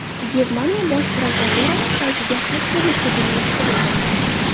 Germaniya bosh prokuraturasi saytiga xakerlik hujumi uyushtirildi.